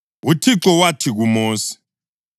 UThixo wathi kuMosi,